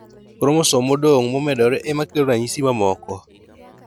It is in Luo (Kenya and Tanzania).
Kromosom modong' momedore emakelo ranyisi mamoko